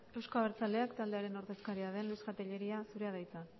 euzko abertzaleak taldearen ordezkaria den tellería jauna zurea da hitza